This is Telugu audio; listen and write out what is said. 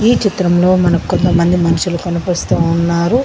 ఈ చిత్రంలో మనకు కొంతమంది మనుషులు కనిపిస్తు ఉన్నారు.